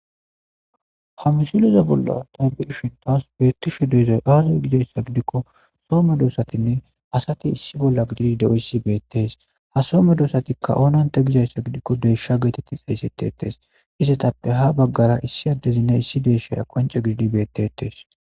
ha misileza bolla tabishi tas beettisho deeza aazo gidayssa gidikko soome doosatinne asati issi bolla gidii de7oyssi beettes ha some doosatikka oonanta gizayssa gidikko deeshsha geetetti xaysettetes isetappe ha baggara issi addezinna issi deeshshaya qonce gididi beettetes